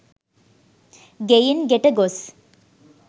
ගෙයින් ගෙට ගොස්